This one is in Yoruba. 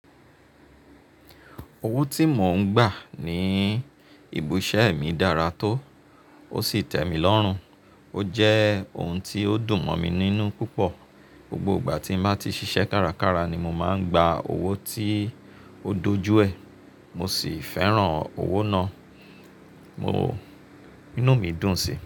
Owó tí mò ń gbà ní ibi iṣẹ́ mi dára tó, ó sì tẹ̀ mí lọ́rùn, ó jẹ́ ohun tí ó dùn mọ́ mi níní púpọ̀. Gbogbo ìgbà tí n bá ti ṣiṣẹ́ kárakára ni mo máa ń gba owó tí ó dojúẹ̀, mo sì fẹ́ràn owó náà. Mo, inú mi dùn sí i.